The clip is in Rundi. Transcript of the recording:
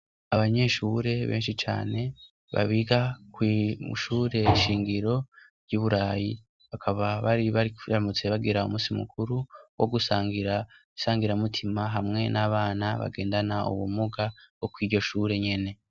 Abanyeshure benshi cane babiga kwi mwimushure shingiro ry'uburayi bakaba bari bari baramutse bagira umusi mukuru wogusangira isangira mutima hamwe n'abana bagendana ubumuga bo kwiryo shure nyene.